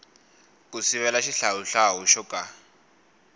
ku sivela xihlawuhlawu xo ka